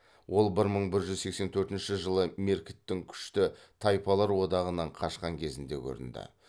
ол бір мың бір жүз сексен төртінші жылы меркіттің күшті тайпалар одағынан қашқан кезінде көрінді